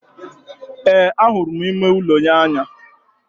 Ee, ahụrụ m ime ụlọ n'anya